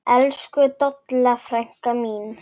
Elsku Dolla frænka mín.